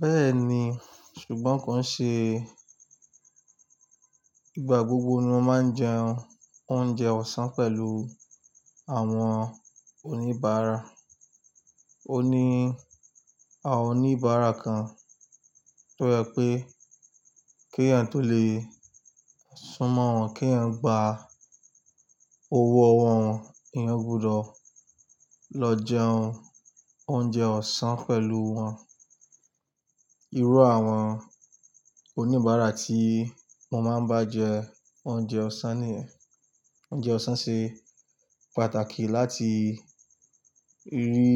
Bẹ́ẹ̀ni, ṣùgbọ́n kò ń ṣe. Ìgbà gbogbo ni wọ́n máa ń jẹun oúnjẹ ọ̀sán pẹ̀lú àwọn oníbàárà. Oní, àwọn oníbàárà kan tó jẹ pé kí a tó lè súnmọ́ wọn, kí ẹ̀yin gba owó ọwọ́ wọn, ẹ̀yam gbudọ̀ lọ jẹun oúnjẹ ọ̀sán pẹ̀lú wọn. Irú àwọn oníbàárà tí wọ́n máa ń bá jẹ oúnjẹ ọ̀sán ni yen, oúnjẹ ọ̀sán ṣe pàtàkì láti rí